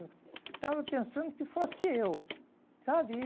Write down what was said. Estava pensando que fosse eu, sabe?